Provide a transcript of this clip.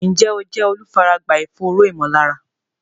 Ǹjẹ́ o jẹ́ olùfaragbá ìfòòró ìmọ̀lára?